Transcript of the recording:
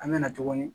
An mɛna tuguni